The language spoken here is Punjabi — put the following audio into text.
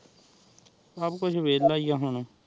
ਸਬ ਕੁਕ ਵੇਲ੍ਲਾ ਹੀ ਆਹ ਹੁਣ